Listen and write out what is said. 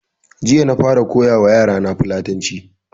Jiya na fara koya wa yara na Fulatanci